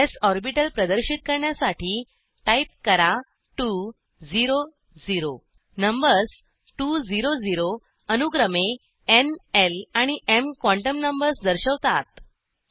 स् ऑर्बिटल प्रदर्शित करण्यासाठी टाईप करा 2 0 0 नंबर्स 2 0 0अनुक्रमे न् ल आणि एम क्वांटम नंबर्स दर्शवतात